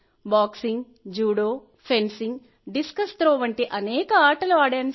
boxing judo fencing discus throw వంటి అనేక ఆటలు ఆడాను